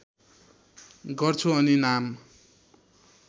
गर्छु अनि नाम